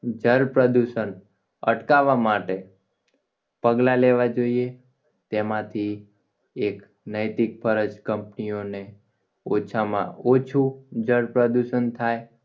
જળ પ્રદૂષણ અટકાવવા માટે પગલાં લેવા જોઈએ તેમાંથી એક નૈતિક ફરજ company ઓને ઓછામાં ઓછું જળ પ્રદૂષણ થાય